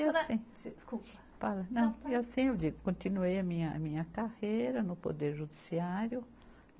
E assim. Desculpa. Não, e assim vivo, eu continuei a minha carreira no Poder Judiciário.